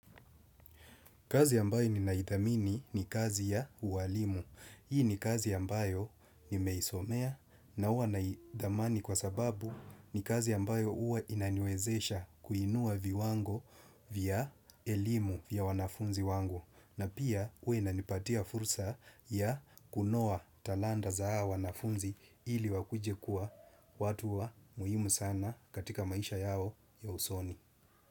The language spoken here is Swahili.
Kazi ambayo ninaidhamini ni kazi ya uwalimu. Hii ni kazi ambayo nimeisomea na huwa naidhamini kwa sababu ni kazi ambayo huwa inaniwezesha kuinua viwango vya elimu vya wanafunzi wangu. Na pia huwa inanipatia fursa ya kunoa talanta za wanafunzi ili wakuje kuwa watu wa muhimu sana katika maisha yao ya usoni.